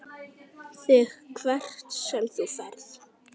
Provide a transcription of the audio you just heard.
ÞIG HVERT SEM ÞÚ FERÐ.